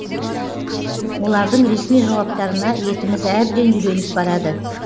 олардың ресми жауаптарына етіміз әбден үйреніп барады